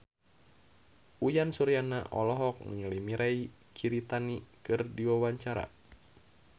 Uyan Suryana olohok ningali Mirei Kiritani keur diwawancara